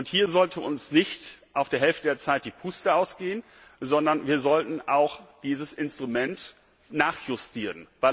Hier sollte uns nicht auf der halben Strecke die Puste ausgehen, sondern wir sollten auch dieses Instrument nachjustieren.